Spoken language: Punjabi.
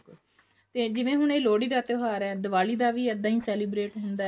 ਤੇ ਜਿਵੇਂ ਹੁਣ ਇਹ ਲੋਹੜੀ ਦਾ ਤਿਓਹਾਰ ਹੈ ਦਿਵਾਲੀ ਦਾ ਵੀ ਇੱਦਾਂ ਹੀ celebrate ਹੁੰਦਾ